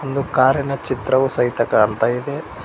ಇದು ಕಾರಿನ ಚಿತ್ರವು ಸಹಿತ ಕಾಣ್ತಾ ಇದೆ.